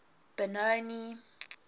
benoni